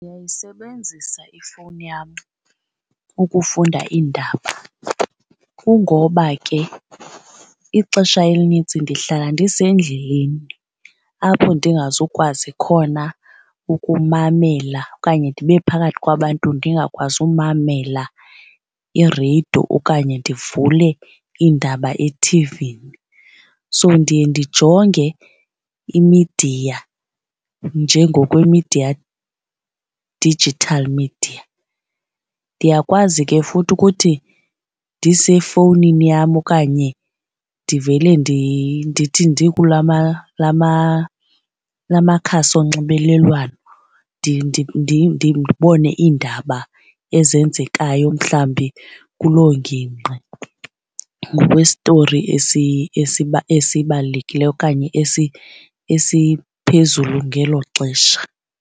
Ndiyayisebenzisa ifowuni yam ukufunda iindaba kungoba ke ixesha elinintsi ndihlala ndisendleleni apho ndingazukwazi khona ukumamela okanye ndibe phakathi kwabantu ndingakwazi umamela ireyido okanye ndivule iindaba ethivini. So, ndiye ndijonge imidiya njengokwemidiya, digital media. Ndiyakwazi ke futhi ukuthi ndisefowunini yam okanye ndivele ndithi ndikula makhasi onxibelelwano ndibone iindaba ezenzekayo mhlawumbi kuloo ngingqi ngokwestori esibalulekileyo okanye esiphezulu ngelo xesha.